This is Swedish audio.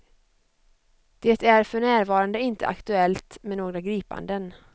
Det är för närvarande inte aktuellt med några gripanden.